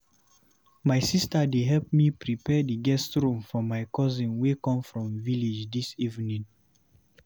My sister dey help me prepare the guest room for my cousin wey come from village dis evening.